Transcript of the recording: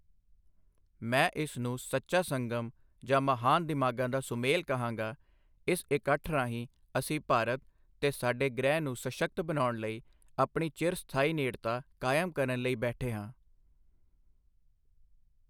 ਮੈਂ ਇਸ ਨੂੰ ਸੱਚਾ ਸੰਗਮ ਜਾਂ ਮਹਾਨ ਦਿਮਾਗ਼ਾਂ ਦਾ ਸੁਮੇਲ ਕਹਾਂਗਾ, ਇਸ ਇਕੱਠ ਰਾਹੀਂ ਅਸੀਂ ਭਾਰਤ ਤੇ ਸਾਡੇ ਗ੍ਰਹਿ ਨੂੰ ਸਸ਼ੱਕਤ ਬਣਾਉਣ ਲਈ ਆਪਣੀ ਚਿਰ ਸਥਾਈ ਨੇੜਤਾ ਕਾਇਮ ਕਰਨ ਲਈ ਬੈਠੇ ਹਾਂ।